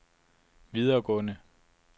videregående